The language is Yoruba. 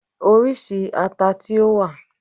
Oríṣi ata tí ó wà?